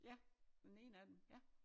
Ja den ene af dem ja